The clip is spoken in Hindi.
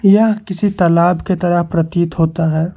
यह किसी तालाब की तरह प्रतीत होता है।